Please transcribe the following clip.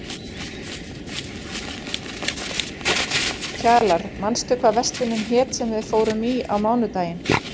Kjalar, manstu hvað verslunin hét sem við fórum í á mánudaginn?